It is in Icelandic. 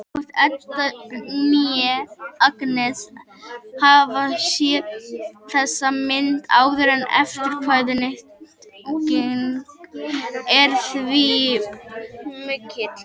Hvorki Edda né Agnes hafa séð þessa mynd áður og eftirvæntingin er því mikill.